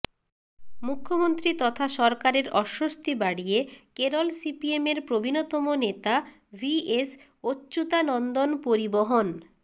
মুখ্যমন্ত্রী তথা সরকারের অস্বস্তি বাড়িয়ে কেরল সিপিএমের প্রবীণতম নেতা ভি এস অচ্যুতানন্দন পরিবহণ